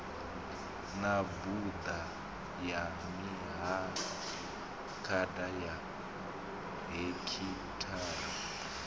mabuḓa ya mihafukhada ya hekhithara